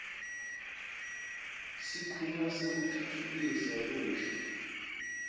sikhungo sekutfutfukisa lusha